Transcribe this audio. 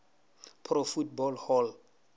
pro football hall